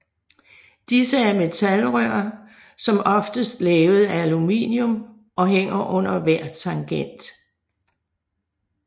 Disse er metalrør som oftest lavet af aluminium og hænger under hver tangent